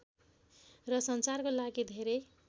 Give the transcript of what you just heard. र सञ्चारको लागि धेरै